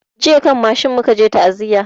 Jiya kan mashin mu ka je ta'aziya